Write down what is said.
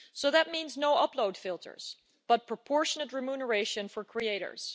So that means no upload filters, but proportionate remuneration for creators.